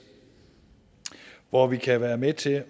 hvor vi kan være med til